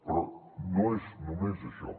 però no és només això